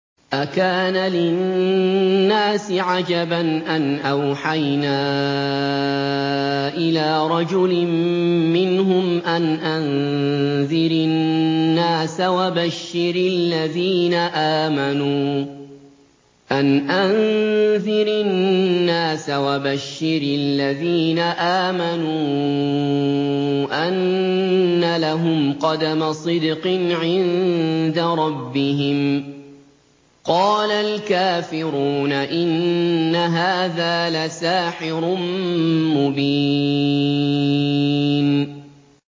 أَكَانَ لِلنَّاسِ عَجَبًا أَنْ أَوْحَيْنَا إِلَىٰ رَجُلٍ مِّنْهُمْ أَنْ أَنذِرِ النَّاسَ وَبَشِّرِ الَّذِينَ آمَنُوا أَنَّ لَهُمْ قَدَمَ صِدْقٍ عِندَ رَبِّهِمْ ۗ قَالَ الْكَافِرُونَ إِنَّ هَٰذَا لَسَاحِرٌ مُّبِينٌ